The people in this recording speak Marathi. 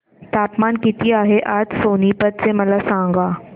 तापमान किती आहे आज सोनीपत चे मला सांगा